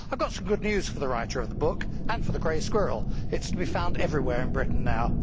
I have some good news for the writer of the book and for the grey squirrel it is to be found everywhere in Britain now.